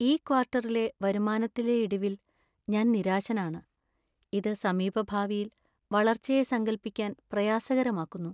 ഈ ക്വാർട്ടറിലെ വരുമാനത്തിലെ ഇടിവിൽ ഞാൻ നിരാശനാണ്, ഇത് സമീപഭാവിയിൽ വളർച്ചയെ സങ്കൽപ്പിക്കാൻ പ്രയാസകരമാക്കുന്നു.